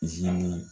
Izini